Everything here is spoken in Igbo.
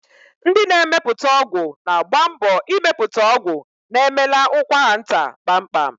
Ndị na-emepụta ọgwụ na-agba mbọ ịmepụta ọgwụ na-emela ụkwaranta kpamkpam.